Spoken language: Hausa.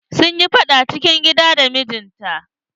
Sun yi faɗar cikin gida da mijinta.